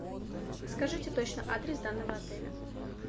скажите точно адрес данного отеля